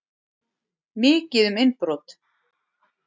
Mikið um innbrot